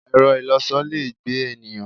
Ẹ̀rọ-ìlọsọ le gbé ènìyàn.